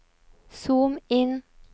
zoom inn